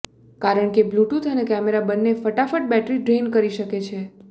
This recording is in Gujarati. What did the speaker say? કારણ કે બ્લ્યૂટૂથ અને કેમેરા બંને ફટાફટ બેટરી ડ્રેઇન કરી શકે છે